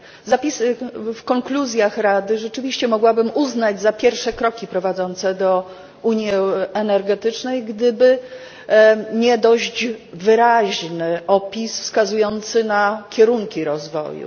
Zapisy w konkluzjach Rady rzeczywiście mogłabym uznać za pierwsze kroki prowadzące do unii energetycznej, gdyby nie dość wyraźny opis wskazujący na kierunki rozwoju.